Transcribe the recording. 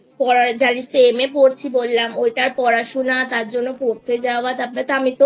পড়ার জানিস তো MA পড়ছি বললাম ঐটা পড়াশোনা তার জন্য পড়তে যাওয়া তারপর